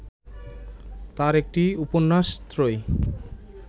তাঁর একটি উপন্যাস ত্রয়ী